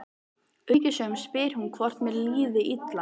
Umhyggjusöm spyr hún hvort mér líði illa.